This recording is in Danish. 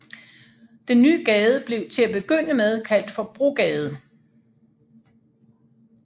Den nye gade blev til at begynde med kaldt for Brogade